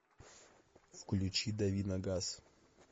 включи дави на газ